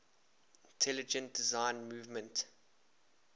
intelligent design movement